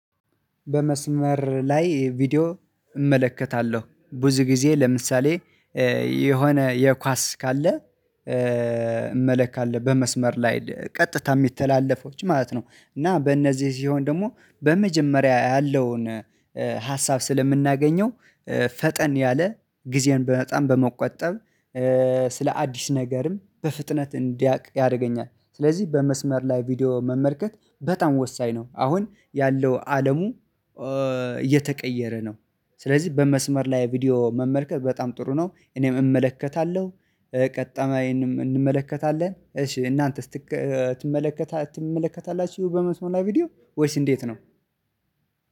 በመስመር ላይ ቪዲዮ እመለከታለሁ ብዙ ጊዜ ለምሳሌ የሆነ የኳስ ካለ እመለታለሁ በመስመር ላይ ቀጥታ የሚተላለፈውን ማለት ነው። እና በእነዚህ ሲሆን ደግሞ በመጀመሪያ ያለውን ሀሳብ ስለምናገኘው ፈጠን ያለ ጊዜን በጣም በመቆጠብ ስለ አዲስ ነገርም በፍጥነት እንዳውቅ ያደርገኛል። ስለዚህ በመስመር ላይ ቪዲዮ መመልከት በጣም ወሳኝ ነው። አሁን ያለው አለም እየተቀየረ ነው። ስለዚህ በመስመር ላይ ቪዲዮ መመልከት በጣም ጥሩ ነው እኔም እመለከታለሁ። ቀጣዬንም እንመለከታለን። እሺ እናንተስ ትመለከታላችሁ በመስመር ላይ ቪዲዮ ወይስ እንዴት ነው?